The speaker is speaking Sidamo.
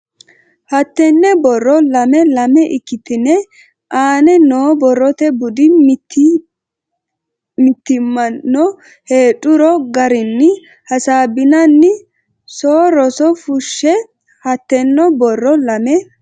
hattenne borro lame lame ikkitine aane noo borrote budi Mitii mitanno heedhuro garinni hasaabbinanni so rose fushshe hattenne borro lame.